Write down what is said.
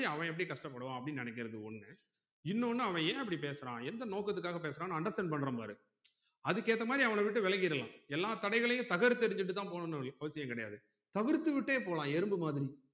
நம்மக்கு ஒரு கஷ்டம் மாதிரி அவன் எப்படி கஷ்ட படுவான் அப்டின்னு நெனைக்குறது ஒன்னு இன்னொன்னு அவன் ஏன் அப்படி பேசுறான் எந்த நோக்கத்துக்காக பேசுறானு understand பன்றோம் பாரு அதுக்கு ஏத்த மாதிரி அவன விட்டு விலகிரலாம் எல்லா தடைகளிலும் தகர்த்து எரிஞ்சுட்டுத்தான் போகனும் வொழிய அவசியம் கிடையாது தவிர்த்துவிட்டே போலாம் எறும்பு மாதிரி